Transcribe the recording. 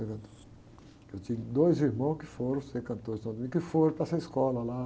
Eu tinha dois irmãos que foram ser cantores de São Domingos, que foram para essa escola lá.